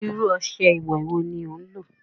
Irú ọṣẹ ìwẹ̀ wo ní o lò?